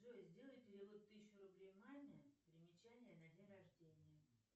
джой сделай перевод тысячу рублей маме примечание на день рождения